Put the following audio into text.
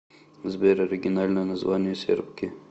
сбер оригинальное название сербки